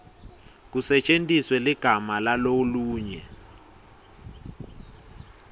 kusetjentiswe ligama lalolunye